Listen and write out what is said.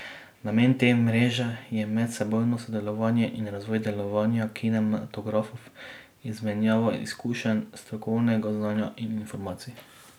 Namen te mreže je medsebojno sodelovanje in razvoj delovanja kinematografov, izmenjava izkušenj, strokovnega znanja in informacij.